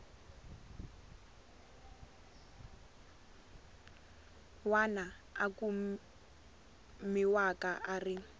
wana a kumiwaka a ri